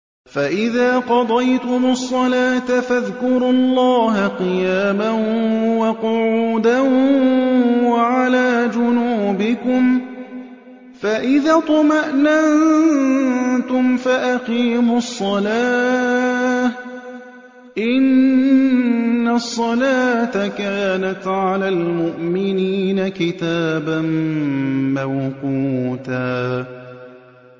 فَإِذَا قَضَيْتُمُ الصَّلَاةَ فَاذْكُرُوا اللَّهَ قِيَامًا وَقُعُودًا وَعَلَىٰ جُنُوبِكُمْ ۚ فَإِذَا اطْمَأْنَنتُمْ فَأَقِيمُوا الصَّلَاةَ ۚ إِنَّ الصَّلَاةَ كَانَتْ عَلَى الْمُؤْمِنِينَ كِتَابًا مَّوْقُوتًا